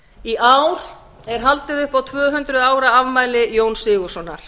í ár er haldið upp á tvö hundruð ára afmæli jóns sigurðssonar